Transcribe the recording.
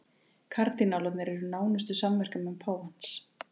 Kardinálarnir eru nánustu samverkamenn páfans